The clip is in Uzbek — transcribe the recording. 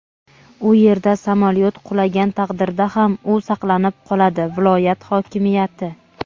u yerda samolyot qulagan taqdirda ham u saqlanib qoladi – viloyat hokimiyati.